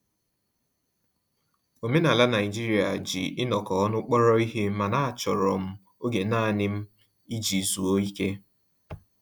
Omenala Naijiria ji inọkọ ọnụ kpọrọ ihe, mana a chọrọ m oge nanị m iji zụọ ike